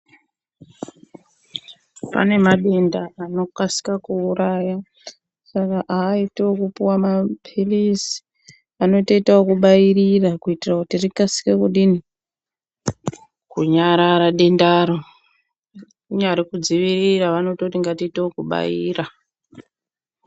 Pane madenda anokasika kuuraya saka aiiti ekupuwa mapilizi anotoita ekubairira kuitira kuti rikasike kunyarara dendaro kunyari kudzivirira vanototi ngatiito kubaira.